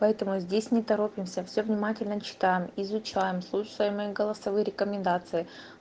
поэтому здесь не торопимся всё внимательно читаем изучаем слушаем мои голосовые рекомендации